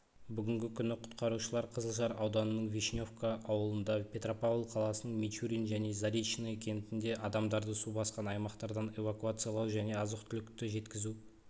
бүгінгі күні құтқарушылар қызылжар ауданының вишневка ауылында петропавл қаласының мичурин және заречное кентінде адамдарды су басқан аймақтардан эвакуациялау және азық-түлікті жеткізу